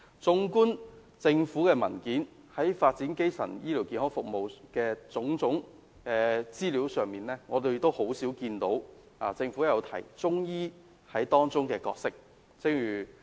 綜觀政府的文件，在發展基層醫療服務的種種資料上，我們很少看到政府有提及中醫在當中的角色。